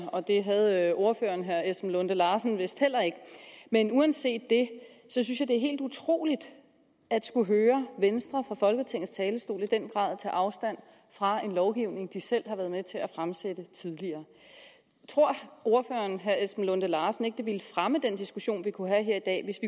og det havde ordføreren herre esben lunde larsen vist heller ikke men uanset det synes jeg det er helt utroligt at skulle høre venstre fra folketingets talerstol i den grad tage afstand fra en lovgivning de selv har været med til at fremsætte tidligere tror ordføreren herre esben lunde larsen ikke at det ville fremme den diskussion vi kunne have her i dag hvis